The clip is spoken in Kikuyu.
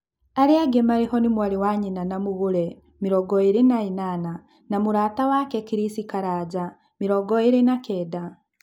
Arĩangĩ marĩho nĩ mwarĩ wa nyina na Magũre, mĩrongoĩrĩ na ĩnana, na mũrata wake Chris Karanja, mĩrongoĩrĩ na kenda.